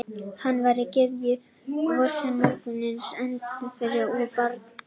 Hún var gyðja vorsins, morgunsins, endurfæðingarinnar og barna.